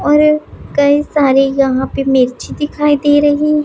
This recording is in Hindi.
और कई सारे यहां पे मिर्ची दिखाई दे रही--